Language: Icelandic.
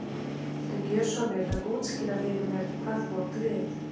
Viltu gjöra svo vel að útskýra fyrir mér hvað þú átt við.